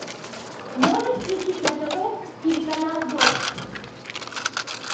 можешь включить на тв телеканал дождь